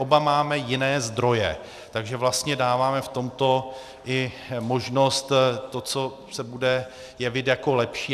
Oba máme jiné zdroje, takže vlastně dáváme v tomto i možnost tomu, co se bude jevit jako lepší.